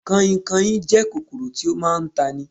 Kanhinkanhin jẹ́ kòkòrò tí ó máa ń tani